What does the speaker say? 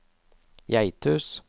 Geithus